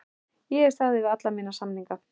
Ég hef staðið við alla mína samninga.